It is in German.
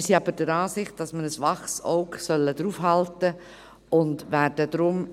Wir sind aber der Ansicht, dass wir ein waches Auge darauf halten sollten, und werden deshalb ...